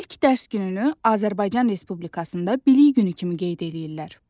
İlk dərs gününü Azərbaycan Respublikasında bilik günü kimi qeyd eləyirlər.